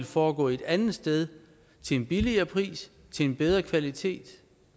foregå et andet sted til en billigere pris til en bedre kvalitet